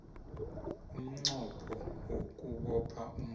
umnqopho wokubopha umuntu